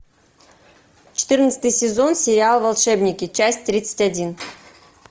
четырнадцатый сезон сериал волшебники часть тридцать один